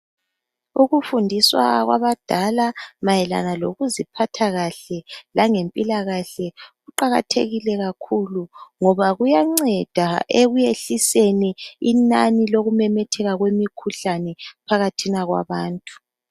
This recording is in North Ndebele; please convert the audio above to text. Ukufundiswa kwabadala mayelana lokuziphatha kahle langephila kahle, kuqakhathekile kakhulu, ngoba kuyaceda ekuyehliseni inani lokumemetheka kwemikhuhlane phakhathina kwabantu.